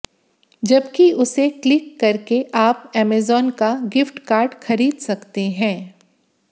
जबकि उसे क्लिक करके आप अमेजन का गिफ्ट कार्ड खरीद सकते हैं